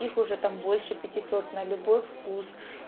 их уже там больше пятисот на любой вкус